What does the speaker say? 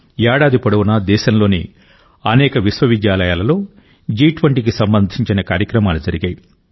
ఏడాది పొడవునా దేశంలోని అనేక విశ్వవిద్యాలయాలలో జి20కి సంబంధించిన కార్యక్రమాలు జరిగాయి